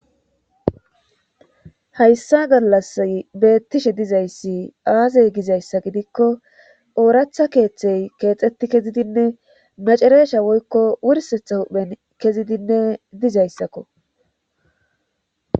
Hayssa gallas beettishe dizayssi aazey gizayssa gidikko ooratha keeththey keexetti kezidinne macereesha woykko wursetha huhphen kezidinne dizayssakko